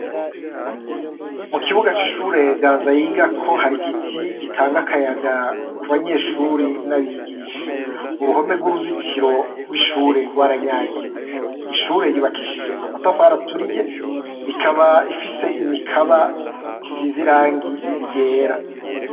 Mu kibuga c'ishure Ganza yigako hari igiti gitanga akayaga ku banyeshuri n'abigisha, uruhome rw'uruzitiro rw'ishure rwaranyagiwe, ishure ry'ubakishije amatafari aturiye ikaba ifise imikaba isize irangi ryera.